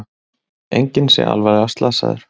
Enginn sé alvarlega slasaður